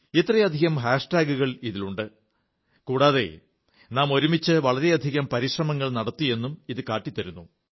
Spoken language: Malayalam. ഇത്രയധികം ഹാഷ്ടാഗുകൾ ഇതിലുണ്ട് കൂടാതെ നാം ഒരുമിച്ച് വളരെയധികം പരിശ്രമങ്ങൾ നടത്തിയെന്നും ഇത് കാട്ടിത്തരുന്നു